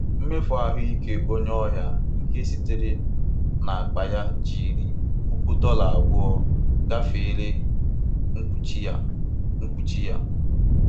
Mmefu ahụike onye ọrịa nke sitere n'akpa ya jiri puku dọla abụọ gafere mkpuchi ya. mkpuchi ya.